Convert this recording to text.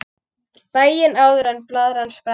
Daginn áður en blaðran sprakk.